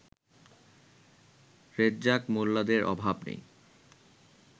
রেজ্জাক মোল্লাদের অভাব নেই